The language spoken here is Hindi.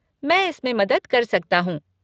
मैं इसमें मदद कर सकता हूँ।